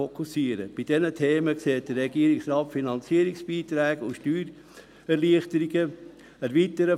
Bei diesen Themen sieht der Regierungsrat Finanzierungsbeiträge und Steuererleichterungen vor.